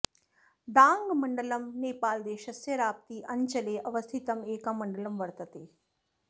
दाङ्गमण्डलम् नेपालदेशस्य राप्ती अञ्चले अवस्थितं एकं मण्डलं वर्तते